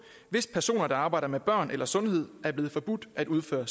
hvis personer der arbejder med børn eller sundhed er blevet forbudt at udføre